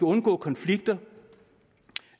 undgå konflikter